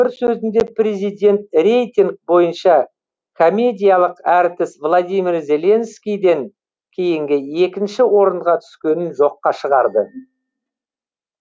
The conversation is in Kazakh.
бір сөзінде президент рейтинг бойынша комедиялық әртіс владимир зеленскийден кейінгі екінші орынға түскенін жоққа шығарды